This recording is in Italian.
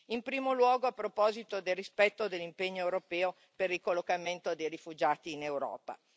In primo luogo, a proposito del rispetto dell'impegno europeo per il ricollocamento dei rifugiati in Europa.